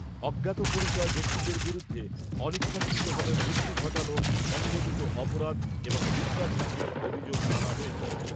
অজ্ঞাতপরিচয় ব্যক্তিদের বিরুদ্ধে অনিচ্ছাকৃতভাবে মৃত্যু ঘটানো, সংগঠিত অপরাধ এবং বিশ্বাসভঙ্গের অভিযোগ আনা হয়েছে।